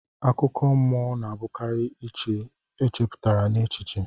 Akụkọ mọ na abukari ihe echeputa n'echiche.